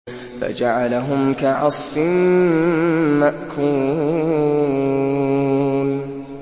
فَجَعَلَهُمْ كَعَصْفٍ مَّأْكُولٍ